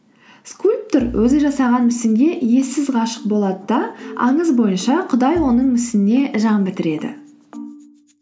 скульптор өзі жасаған мүсінге ессіз ғашық болады да аңыз бойынша құдай оның мүсініне жан бітіреді